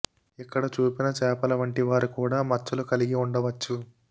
ఇక్కడ చూపిన చేపల వంటి వారు కూడా మచ్చలు కలిగి ఉండవచ్చు